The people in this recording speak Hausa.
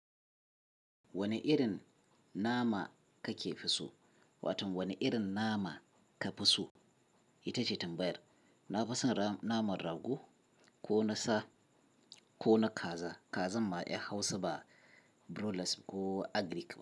Wane irin nama kake fi so? Wato wane irin nama ka fi so? Ita ce tambayar. Na fi son naman rago ko na sa ko na kaza. Kazan ma in Hausa ba broilers ko agric ba.